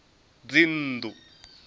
dzinnḓu